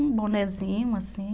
Um bonézinho, assim.